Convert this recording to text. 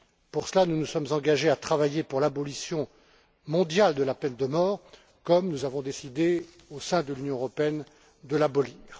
Pour cela, nous nous sommes engagés à travailler pour l'abolition mondiale de la peine de mort, comme nous avons décidé au sein de l'Union européenne de l'abolir.